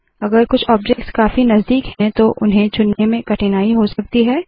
अगर कुछ ऑब्जेक्ट्स काफी नज़दीक है तो उन्हें चुनने में कठिनाई हो सकती है